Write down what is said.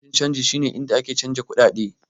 Ofishin canji shi ne inda ake canjin kuɗaɗe.